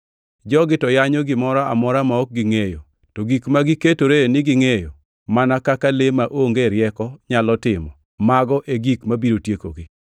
Jogi to yanyo gimoro amora ma ok gingʼeyo to gik ma giketore ni gingʼeyo mana kaka le maonge rieko nyalo timo, mago e gik mabiro tiekogi.